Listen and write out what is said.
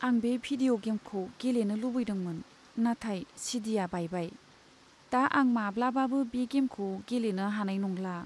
आं बे भिदिय' गेमखौ गेलेनो लुबैदोंमोन, नाथाय चि. डि. आ बायबाय। दा आं माब्लाबाबो बे गेमखौ गेलेनो हानाय नंला।